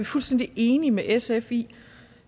fuldstændig enige med sf i